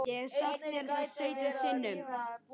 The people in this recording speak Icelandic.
Ég hef sagt þér það sautján sinnum.